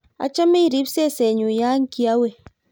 achame irib sese nyu ya kiawe